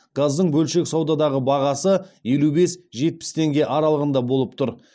газдың бөлшек саудадағы бағасы елу бес жетпіс теңге аралығында болып тұр